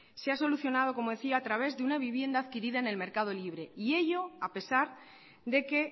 se ha solucionado como decía a través de una vivienda adquirida en el mercado libre y ello a pesar de que